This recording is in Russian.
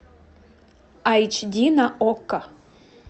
айч ди на окко